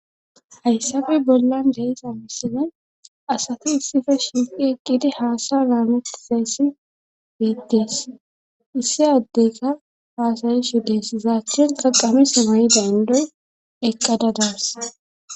hayssafe bollan de'iza misine asati issife shimqi eqqidi haasay naamutizeyssi beettes issi addeyka haasayi shu dees zaattin qaqame samayi daandoy eqqada daas